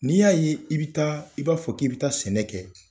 N'i y'a ye i bɛ taa i b'a fɔ k'i bi taa sɛnɛ kɛ.